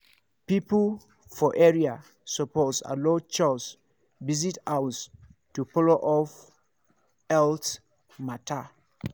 people for area suppose allow chws visit house to follow up health matter.